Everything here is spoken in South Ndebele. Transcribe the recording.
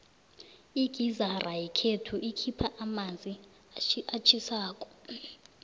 igizara yakwethu ikhupha amanzi atjhisako